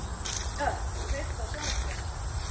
Örk, kveiktu á sjónvarpinu.